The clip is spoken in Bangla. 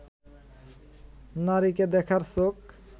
নারীকে দেখার চোখ